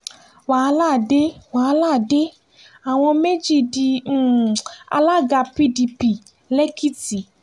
wàhálà dé wàhálà dé àwọn méjì di um alága pdp lẹ́kìtì